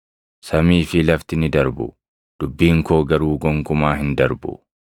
Samii fi lafti ni darbu; dubbiin koo garuu gonkumaa hin darbu.